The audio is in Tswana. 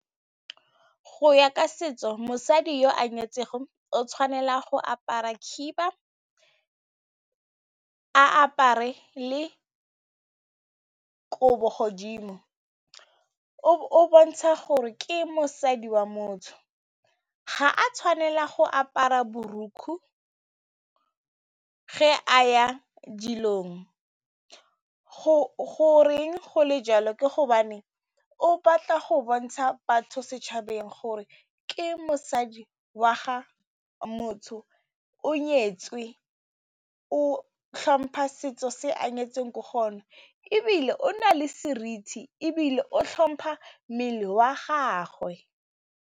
Go ya ka setso, mosadi yo a nyetsego o tshwanela go apara khiba, a apare le ko godimo o bontsha gore ke mosadi wa motho, ga a tshwanela go apara borukgwe ge a ya dilong. Goreng go le jalo? Ke hobane o batla go bontsha batho setšhabeng gore ke mosadi wa ga motho, o nyetswe, o tlhompha setso se a nyetseng ko go sona ebile o na le seriti ebile o tlhompha mmele wa gagwe.